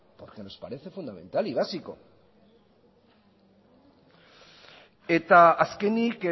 porque nos parece fundamental y básico eta azkenik